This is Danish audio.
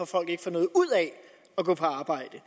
folk ikke får noget ud af at gå på arbejde